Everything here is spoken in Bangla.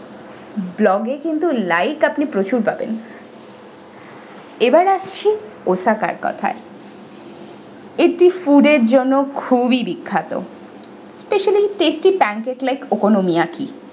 vlog এ কিন্তু like আপনি প্রচুর পাবেন এবার আসছি osaka এর কোথায় এটি food এর জন্য খুবই বিখ্যাত specially tasty pan cake-like okonomiyaki ।